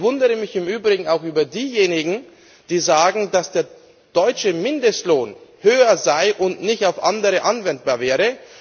Ich wundere mich im Übrigen auch über diejenigen, die sagen, dass der deutsche Mindestlohn höher sei und nicht auf andere anwendbar wäre.